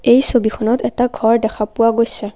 এই ছবিখনত এটা ঘৰ দেখা পোৱা গৈছে।